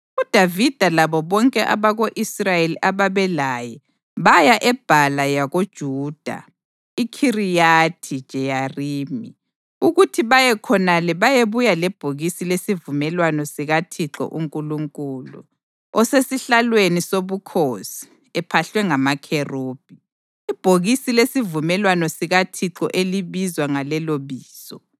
UDavida labo bonke abako-Israyeli ababelaye baya eBhala yakoJuda (iKhiriyathi-Jeyarimi) ukuthi baye khonale bayebuya lebhokisi lesivumelwano sikaThixo uNkulunkulu, osesihlalweni sobukhosi ephahlwe ngamaKherubhi, ibhokisi lesivumelwano sikaThixo elibizwa ngaleloBizo.